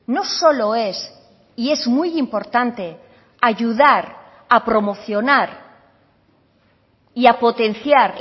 no solo es y es muy importante ayudar a promocionar y a potenciar